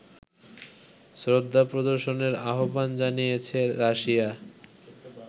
শ্রদ্ধা প্রদর্শনের আহ্বান জানিয়েছে রাশিয়া